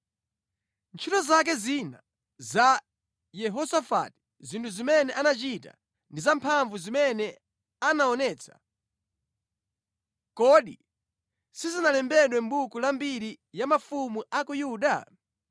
Ntchito zake zina za Yehosafati, zinthu zimene anachita ndi zamphamvu zimene anaonetsa, kodi sizinalembedwe mʼbuku la mbiri ya mafumu a ku Yuda?